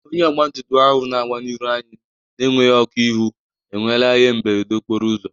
Onye ọgbatumtum ahụ na-agba n'iru anyị na-enweghi ọkụ ihụ enwela ihe mberede okporo ụzọ